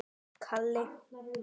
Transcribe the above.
Sama myndin og Heiða átti.